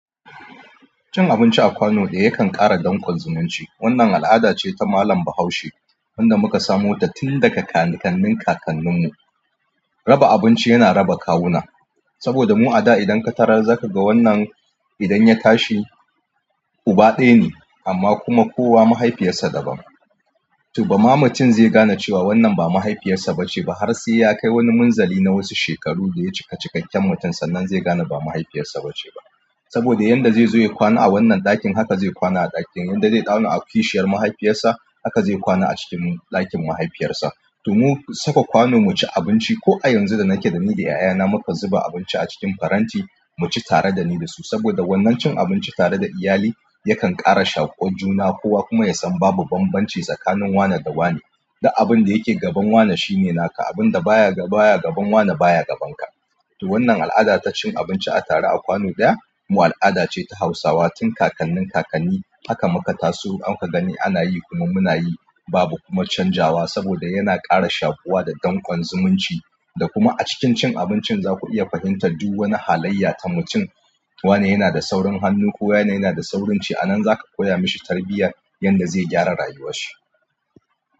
Cin abinci a kwano ɗaya yakan ƙara danƙon zumunci. Wannan al'ada ce ta malam Bahaushe wanda muka samo ta tun daga kakannin kakanninmu. Raba abinci yana raba kawuna, saboda mu a da idan ka tarar zaka ga wannan idan ya tashi uba ɗaya ne amma kuma kowa mahaifiyarsa daban. To ba ma mutum zai gane cewa wannan ba mahaifiyarsa ba ce ba har sai ya kai wani munzali na wasu shekaru da ya cika cikakken mutunci. Sannan zai gane ba mahaifiyarsa ba ce ba saboda yadda zai zo ya kwana a wannan ɗakin haka zai kwana a ɗakin. Yadda zai kwana a kishiyar mahaifiyarsa haka zai kwana a cikin ɗakin mahaifiyarsa. To mu saka kwano mu ci abinci ko a yanzu da nake da ni da 'ya'yana mukan zuba abinci a cikin faranti mu ci tare da ni da su saboda wannan cin abinci tare da iyali yakan ƙara shaƙuwan juna. Kowa kuma ya san babu banbanci tsakanin wane da wane. Da abin da yake gaban wane shine naka, abin da baya gaban wane baya gaban ka. To wannan al'ada ta cin abinci a tare a kwano ɗaya mu al'ada ce ta Hausawa tun kakannin kakanni. Haka muka taso, haka gani ana yi. Ku nan muna yi babu kuma canjawa saboda yana ƙara shaƙuwa da danƙon zumunci. Da kuma a cikin cin abincin za ku iya fahimtar duk wani halayya ta mutum. Wane yana da saurin hannu ko yana yana da saurin ci. A nan za ka koya mashi tarbiyya yadda zai gyara rayuwarshi.